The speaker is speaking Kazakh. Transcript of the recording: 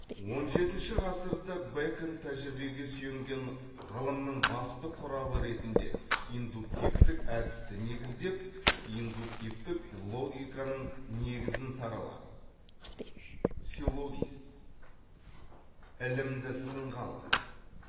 он жетінші ғасырда бэкон тәжірибеге сүйенген ғылымның басты құралы ретінде индуктивтік әдісті негіздеп индуктивтік логиканың негізін саралап силлогист ілімді сынға алды